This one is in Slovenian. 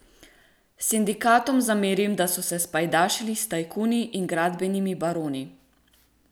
Sindikatom zamerim, da so se spajdašili s tajkuni in gradbenimi baroni.